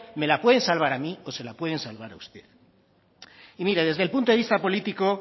me la pueden salvar a mí o se la pueden salvar a usted y mire desde el punto de vista político